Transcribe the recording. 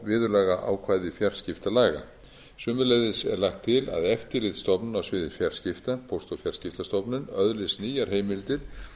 viðurlagaákvæði fjarskiptalaga sömuleiðis er lagt til að eftirlitsstofnun á sviði fjarskipta póst og fjarskiptastofnun öðlist nýjar heimildir